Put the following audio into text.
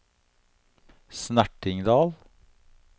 Snertingdal